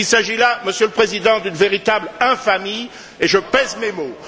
Il s'agit là, Monsieur le Président, d'une véritable infamie, et je pèse mes mots.